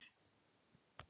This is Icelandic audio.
Ég er með þetta hérna.